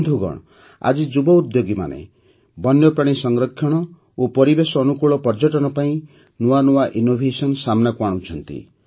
ବନ୍ଧୁଗଣ ଆଜି ଯୁବ ଉଦ୍ୟୋଗୀମାନେ ମଧ୍ୟ ବନ୍ୟପ୍ରାଣୀ ସଂରକ୍ଷଣ ଓ ପରିବେଶ ଅନୁକୂଳ ପର୍ଯ୍ୟଟନ ପାଇଁ ନୂଆନୂଆ ଇନୋଭେସନ ସାମ୍ନାକୁ ଆଣୁଛନ୍ତି